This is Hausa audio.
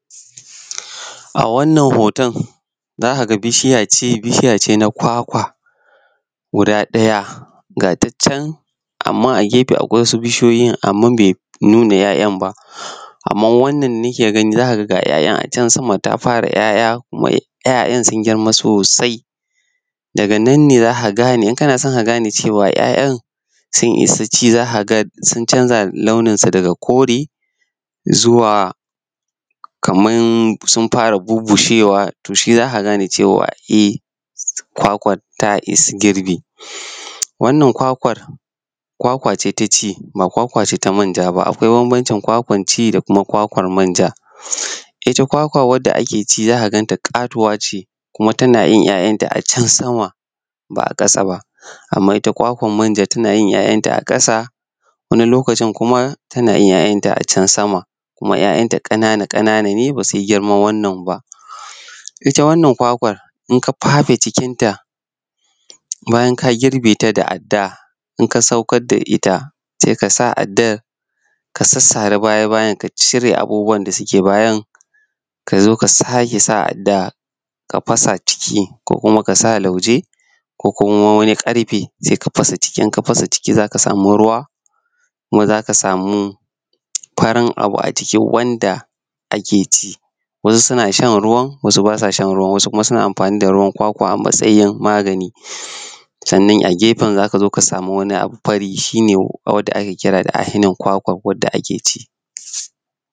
A wannan hoton za ka ga bishiya ce bishiya na kwakwa za ka ga guda ɗaya ga ta can amma a gefe akwai wasu bishiyoyi amma bai nuna 'ya'yan ba amma wann da nake gani ga 'ya'yan a cen sama ta fara 'ya'yan sun girma sosai daga nan ne za ka gane idan kan a so ka ga ne 'ya'yan sun isa ci za ka ga dun canza daha launinsu daga kore zuwa kamar sun fara bubbushewa shi za ka gane cewa kwakwar ta isa girbi. Wannan kwakwar, kwakwa ce ta shi ba kwakwa ce ta sayar ba, akawai bambanci kwakwar ci da kuma kwakwar manja. Ita kwakwa wansa ake ci za ka ganta katuwa ce kuma za ka ganta a can sama. Amma ita kwakwar manja za ka ganta a ƙasa wani lokacin kuma tana yin 'ya'yanta a cen sama kuma 'ya'yan ƙanana ne ba su yi girman wannan ba. Ita wannan kwakwai idan ka fafe cikinta bayan ka girbe ta da adda idan ka saukar da ita sai ka sa addan ka sara baya-bayan ka cire abubuwan da suke bayan. Sannan ka zo ka sake sa adda ka fasa ciki ko ka sa lauje ko wani karfe ka fasa ci za ka ga ruwa kuma za ka samu farin abu a ciki wanda ake ci wasu sun shan ruwan wasu ba sa shan ruwan. Ana amfani da ruwan kwakwa a matsayin magani, sannan a gefe za ka sama wani abu fari wanda ake kira ainihin kwakwa da ake ci